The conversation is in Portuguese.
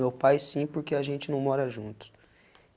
Meu pai sim, porque a gente não mora juntos.